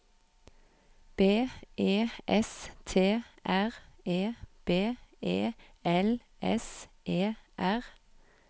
B E S T R E B E L S E R